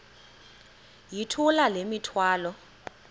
yithula le mithwalo